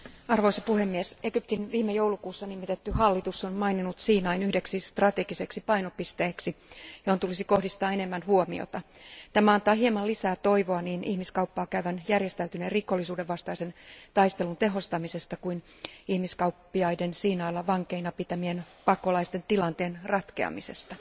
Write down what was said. Arvoisa puhemies, Egyptin viime joulukuussa nimitetty hallitus on maininnut Siinain yhdeksi strategiseksi painopisteeksi, johon tulisi kohdistaa enemmän huomiota. Tämä antaa hieman lisää toivoa niin ihmiskauppaa käyvän järjestäytyneen rikollisuuden vastaisen taistelun tehostamisesta kuin ihmiskauppiaiden Siinailla vankeina pitämien pakolaisten tilanteen ratkeamisesta.